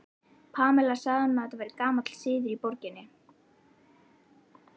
Pamela sagði honum að þetta væri gamall siður í borginni.